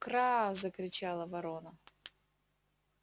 кра закричала ворона